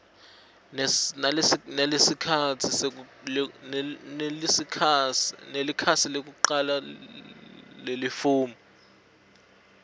nelikhasi lekucala lelifomu